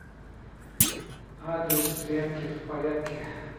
адрес прядки в порядке